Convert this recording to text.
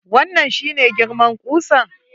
Wannan shi ne girman kusan?